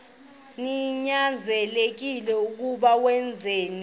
ninyanzelekile koko wenzeni